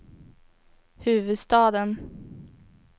huvudstaden